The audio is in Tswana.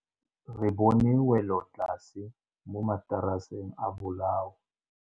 Re bone wêlôtlasê mo mataraseng a bolaô.